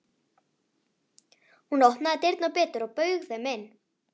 Hún opnaði dyrnar betur og bauð þeim inn.